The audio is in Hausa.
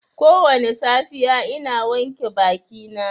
Kowane safiya ina wanke bakina.